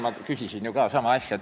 Ma küsisin seal ka ju sama asja kohta.